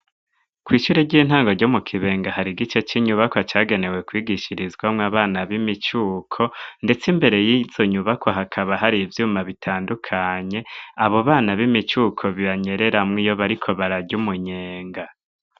Kw'ishure ry'intango ryo mu Kibenga hari igice c'inyubakwa cagenewe kwigishirizwamwo abana b'imicuko ndetse imbere yizo nyubakwa hakaba hari ivyuma bitandukanye abo bana b'imicuko banyereramwo iyo bariko bararya umunyenga.